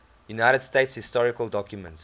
united states historical documents